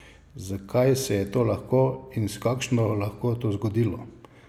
Zakaj se je to lahko in s takšno lahkoto zgodilo?